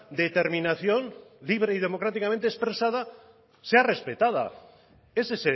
determinación libre y democráticamente expresada sea respetada ese